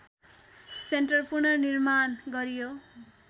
centre पुनर्निर्माण गर्‍यो